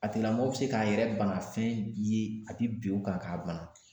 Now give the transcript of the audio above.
A tigilamɔgɔ bɛ se k'a yɛrɛ bana fɛn ye ka t'i bin o kan k'a bana.